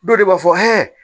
Dɔw de b'a fɔ